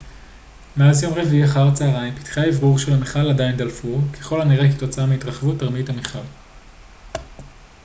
מאז יום רביעי אחר הצהריים פתחי האוורור של המכל עדיין דלפו ככל הנראה כתוצאה מהתרחבות תרמית בתוך המכל